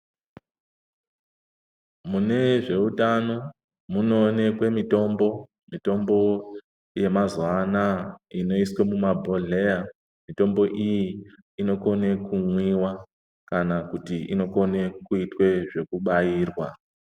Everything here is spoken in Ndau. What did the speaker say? Mune zveutano munoonekwe mitombo, mitombo yemazuva anaya inoiswe mumabhodhleya, mitombo iyi inokone kumwiwa kana kuti inokone kuitwe zvekubairwa.